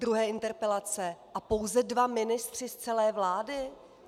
Druhé interpelace a pouze dva ministři z celé vlády?